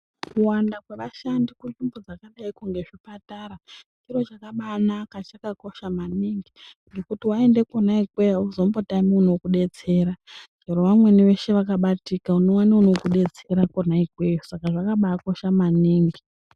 Kuwanda kwevashandi kunzvimbo dzakadaiko nezvipatara zviro zvakabaanaka zvakakosha maningi. Ngekuti vaende kuna ikweyo hauzombotami unokubetsera chero vamweni veshe vakabatika unoona vanokubetsera kona ikweyo saka zvakabaakosha maningi.